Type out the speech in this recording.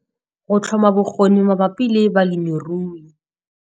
Go tlhoma bokgoni mabapi le balemirui.